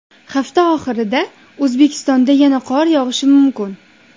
Hafta oxirida O‘zbekistonda yana qor yog‘ishi mumkin.